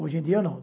Hoje em dia, não.